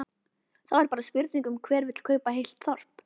Þá er bara spurning um hver vill kaupa heilt þorp?